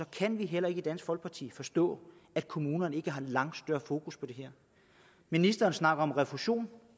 kan heller ikke i dansk folkeparti forstå at kommunerne ikke har langt større fokus på det her ministeren snakker om refusion